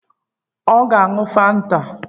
Ọ ga-aṅụ Fanta?